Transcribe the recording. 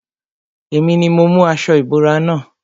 Èmi ni mo mú aṣo ìbora na.